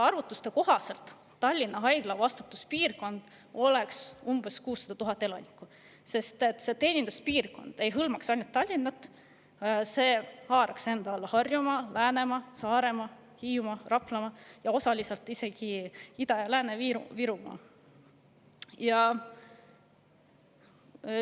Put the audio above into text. Arvutuste kohaselt on Tallinna Haigla vastutuspiirkonnas umbes 600 000 elanikku, sest selle teeninduspiirkond ei hõlmaks ainult Tallinna, vaid haaraks enda alla Harjumaa, Läänemaa, Saaremaa, Hiiumaa, Raplamaa ning osaliselt isegi Ida‑ ja Lääne-Virumaa.